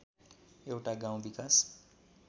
एउटा गाउँ विकास